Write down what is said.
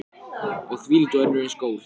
Og þvílík og önnur eins gól.